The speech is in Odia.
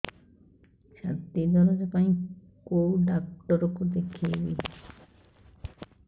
ଛାତି ଦରଜ ପାଇଁ କୋଉ ଡକ୍ଟର କୁ ଦେଖେଇବି